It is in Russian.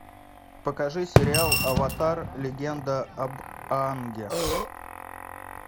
покажи сериал аватар легенда об аанге